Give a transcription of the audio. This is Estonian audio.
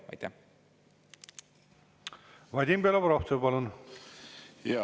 Vadim Belobrovtsev, palun!